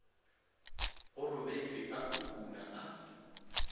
go robetšwe a khukhuna a